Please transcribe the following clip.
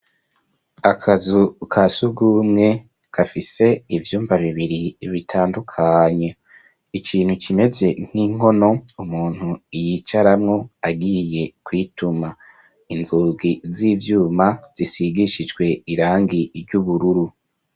Akazu ka shugumwe kafise ivyumba bibiri bitandukanye ikintu kimeze nk'inkono umuntu iyicaramwo agiye kwituma inzogi z'ivyuma zisigishijwe irangi iry' ubururu.